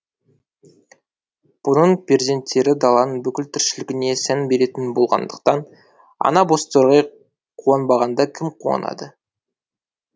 бұрын перзенттері даланың бүкіл тіршілігіне сән беретін болғандықтан ана бозторғай қуанбағанда кім қуанады